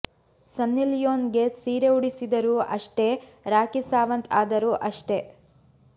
ಸನ್ನಿ Leone ಗೆ ಸೀರೆ ಉಡಿಸಿದರೂ ಅಷ್ಟೇ ರಾಖಿ ಸಾವಂತ್ ಆದರೂ ಅಷ್ಟೇ